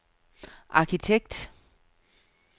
arkitekt